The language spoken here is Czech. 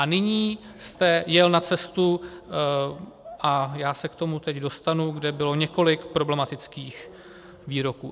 A nyní jste jel na cestu, a já se k tomu teď dostanu, kde bylo několik problematických výroků.